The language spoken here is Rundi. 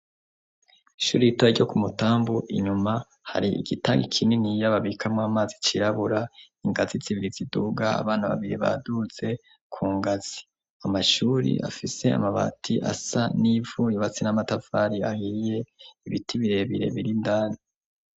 Ishuri ritoya ryo ku Mutambu, inyuma hari igitangi kininiya babikamwo amazi cirabura, ingazi zibiri ziduga, abana babiri baduze ku ngazi, amashuri afise amabati asa n'ivu yubatse n'amatafari ahiye, ibiti birebire biri indani.